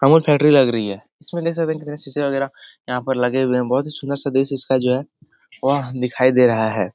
Amul factory लग रही है | इसमें देख सकते हैं कितने शीशे वगैरह यहाँ पर लगे हुए हैं | बहुत ही सुंदर सा बेस इसका जो है वह दिखाई दे रहा है ।